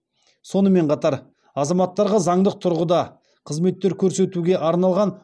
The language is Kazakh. сонымен қатар азаматтарға заңдық тұрғыда қызметтер көрсетуге арналған